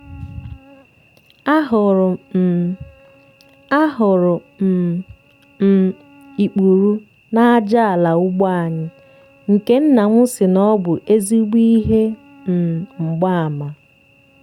a hụrụ um a hụrụ um m ikpuru n'aja ala ugbo anyị nke nna m sị na ọ bụ ezigbo ihe um mgbaàmà.